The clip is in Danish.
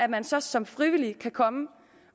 man så som frivillig kan komme